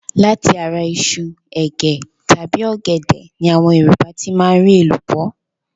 Láti ara iṣu, ègé tàbí ọ̀gẹ̀dẹ̀ ni àwọn Yorùbá ti máa ń rí